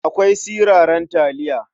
Akwai siraran taliya.